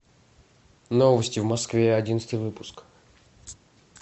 новости в москве одиннадцатый выпуск